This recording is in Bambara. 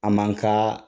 A man ka